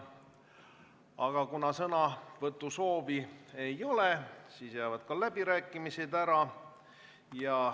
Aga kuna sõnavõtusoovi ei ole, siis jäävad läbirääkimised ära.